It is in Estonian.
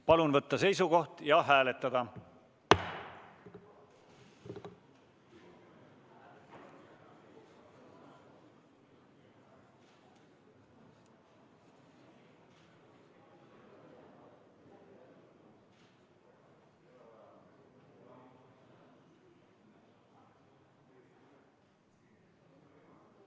Palun võtta seisukoht ja hääletada!